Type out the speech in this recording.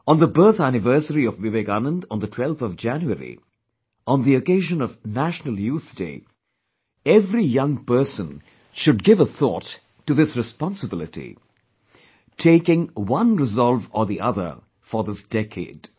On the birth anniversary of Vivekanand on the 12th of January, on the occasion of National Youth Day, every young person should give a thought to this responsibility, taking on resolve or the other for this decade